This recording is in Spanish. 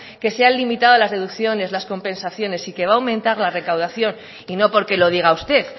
que se han limitado a las deducciones las compensaciones y que va a aumentar la recaudación y no porque lo diga usted